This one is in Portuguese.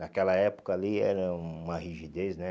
Naquela época ali era uma rigidez, né?